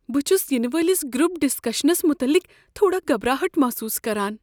بہٕ چھس ینہٕ وٲلس گروپ ڈسکشنس مطلق تھوڑا گبھراہٹ محسوس کران۔